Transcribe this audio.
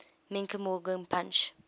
menke morgan punch